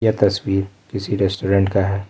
तस्वीर किसी रेस्टोरेंट का है।